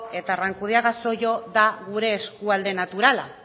eta arrankudiaga zollo da gure eskualde naturala